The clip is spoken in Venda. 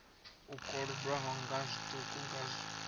u kolodwaho nga zwiṱuku nga